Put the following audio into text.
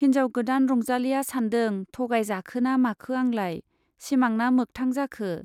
हिन्जाव गोदान रंजालीया सान्दों-थगाय जाखोना माखो आंलाय, सिमांना मोखथां जाखो !